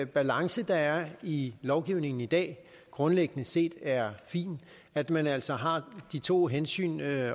balance der er i lovgivningen i dag grundlæggende set er fin at man altså har de to hensyn at